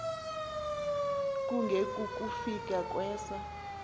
kunge kukufika kwesa